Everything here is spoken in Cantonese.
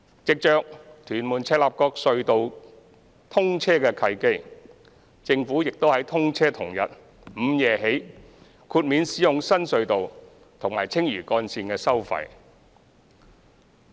藉着屯門—赤鱲角隧道通車的契機，政府亦於通車同日午夜起豁免使用新隧道和青嶼幹線的收費。